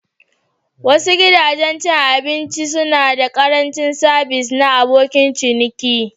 Wasu gidajen cin abinci suna da ƙarancin sabis na abokin ciniki.